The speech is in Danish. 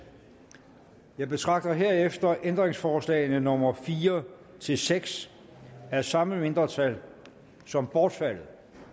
jeg betragter herefter ændringsforslag nummer fire seks af samme mindretal som bortfaldet